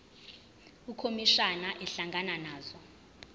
ukhomishana ehlangana nazo